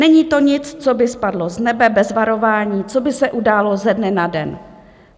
Není to nic, co by spadlo z nebe bez varování, co by se událo ze dne na den.